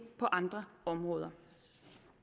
på andre områder